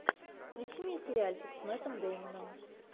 включи мне сериальчик с мэттом дэймоном